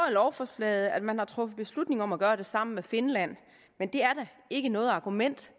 lovforslaget at man har truffet beslutning om at gøre det sammen med finland men det er da ikke noget argument